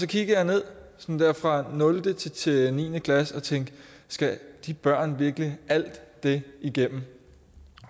kiggede ned fra nul til til niende klasse og tænkte skal de børn virkelig alt det igennem